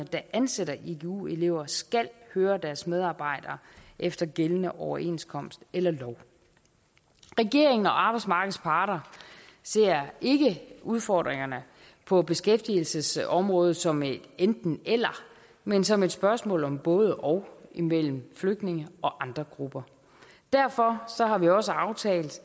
der ansætter igu elever skal høre deres medarbejdere efter gældende overenskomst eller lov regeringen og arbejdsmarkedets parter ser ikke udfordringerne på beskæftigelsesområdet som et enten eller men som et spørgsmål om både og mellem flygtninge og andre grupper derfor har vi også aftalt